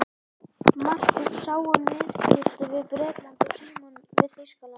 Marteinn sá um viðskipti við Bretland og Símon við Þýskaland.